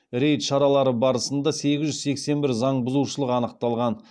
рейд шаралары барысында сегіз жүз сексен бір заңбұзушылық анықталған